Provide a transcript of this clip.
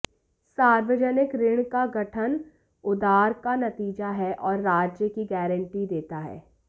सार्वजनिक ऋण का गठन उधार का नतीजा है और राज्य की गारंटी देता है